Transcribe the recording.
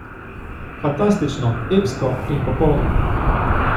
Fantastično, epsko in popolno!